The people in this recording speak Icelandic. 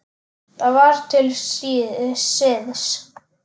Það var til siðs.